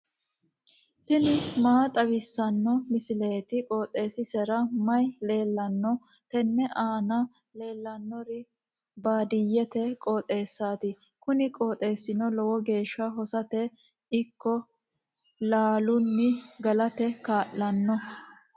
tini maa xawissanno misileeti? qooxeessisera may leellanno? tenne aana leellannori baadiyyete qooxeessaati kuni qooxeessino lowo geeshsha hosate ikko lalunni galate kaa'lanno.